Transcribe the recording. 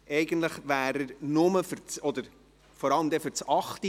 Eigentlich wäre er nur oder vor allem wegen des Traktandums 8 hier;